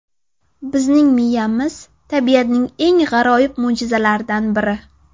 Bizning miyamiz tabiatning eng g‘aroyib mo‘jizalaridan biri.